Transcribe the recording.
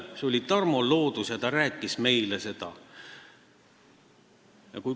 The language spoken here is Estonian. See oli Tarmo Loodus, kes meile seda rääkis.